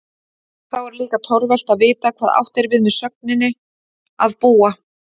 Þá er líka torvelt að vita hvað átt er við með sögninni að búa?